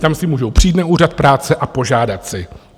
Tam si můžou přijít na Úřad práce a požádat si.